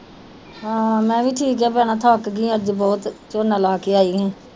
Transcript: ਹਾਂ ਵੀ ਠੀਕ ਆ ਭੈਣਾਂ ਥੱਕ ਗਈ ਅੱਜ ਬਹੁਤ ਝੋਨਾ ਲਾ ਕੇ ਆਈ ਆ।